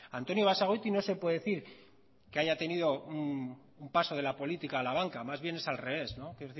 antonio basagoiti no se puede decir que haya tenido un paso de la política a la banca más bien es al revés no quiero